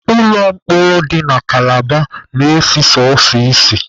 Ụlọ mkpọrọ dị na kalaba na-esi sọsọ ísì.